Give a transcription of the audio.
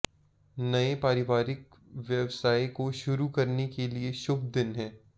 नए पारिवारिक व्यवसाय को शुरू करने के लिए शुभ दिन है